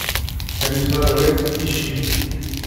комиссар рекс ищи